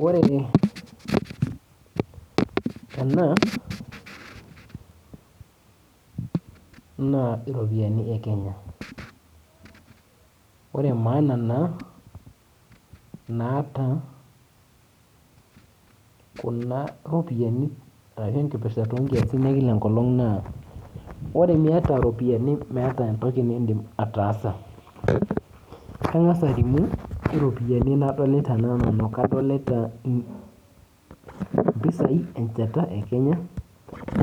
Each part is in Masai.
Ore ena naa iropiyani e Kenya ore naa maana naata kuna ropiyiani ashu enkipirta onkiasin e kila enkolong' naa ore miata iropiyiani meeta entoki niidim ataasa kang'as alimu iropiyiani nadolta taa nanu adolita mpisaai enchata e Kenya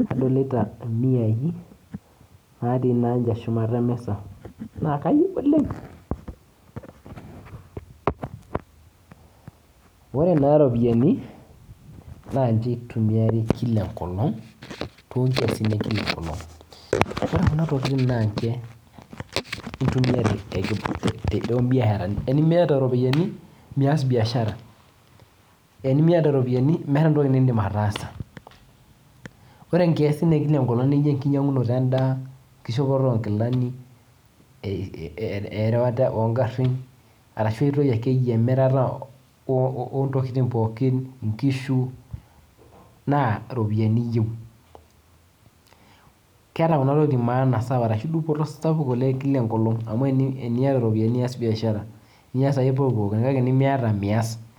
nadolita imiai naatii naa ninche shumata e misa naa kanyorr oleng' ore naa iropiyaini naa ninche itumiari kila nkolong' toonkiasin e kila enkolong' ore kuna tokitin naa ninche